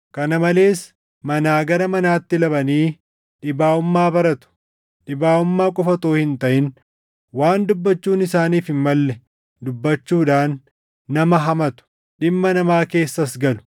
Kana malees manaa gara manaatti labanii dhibaaʼummaa baratu. Dhibaaʼummaa qofa utuu hin taʼin waan dubbachuun isaaniif hin malle dubbachuudhaan nama hamatu; dhimma namaa keessas galu.